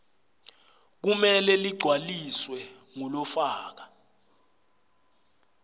kumele ligcwaliswe ngulofaka